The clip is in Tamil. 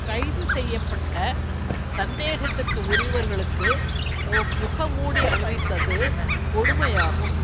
கைது செய்ய பட்ட சந்தேகத்திற்கு உரியவர்களுக்கு முகமூடி அணிவித்தது கொடுமையாகும்